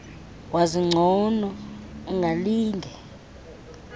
wazi ngcono ungalinge